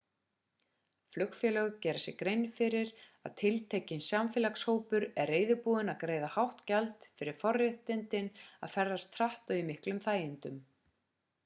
flugfélög gera sér grein fyrir að tiltekinn samfélagshópur er reiðubúinn að greiða hátt gjald fyrir forréttindin að ferðast hratt og í miklum þægindum